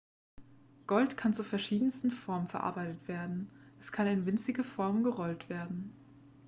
gold kann zu verschiedensten formen verarbeitet werden es kann in winzige formen gerollt werden